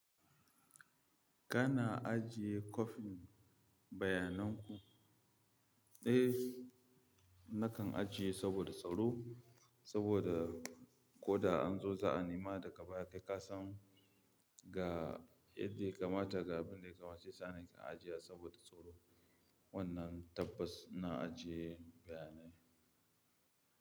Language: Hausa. Kana ajiye copy bayananku? Eh, nakan ajiye saboda tsaro, saboda ko da an zo za'a nema daga baya kai kasan ga yadda ya kamata, ga abin da ya kamata saisa na kan ajiye wa saboda tsaro. Wannan tabbas na ajiye bayanai.